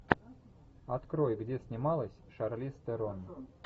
открой где снималась шарлиз терон